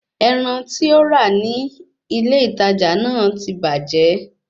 Ẹran tí ó rà ní ilé ìtajà náà ti bàjẹ́